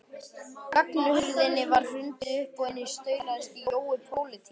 Ganghurðinni var hrundið upp og inn staulaðist Jói pólití með